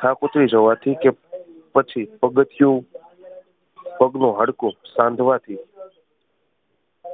થાક ઉતરી જવાથી કે પછી પગથિયું પગનું હાડકું સાંધવાથી